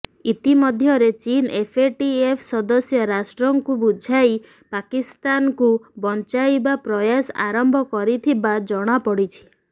ଇତିମଧ୍ୟରେ ଚୀନ୍ ଏଫଏଟିଏଫ ସଦସ୍ୟ ରାଷ୍ଟ୍ରଙ୍କୁ ବୁଝାଇ ପାକିସ୍ତାନକୁ ବଞ୍ଚାଇବା ପ୍ରୟାସ ଆରମ୍ଭ କରିଥିବା ଜଣାପଡ଼ିଛି